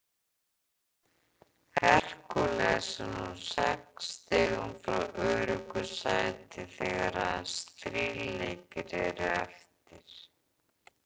Hercules er nú sex stigum frá öruggu sæti þegar aðeins þrír leikir eru eftir.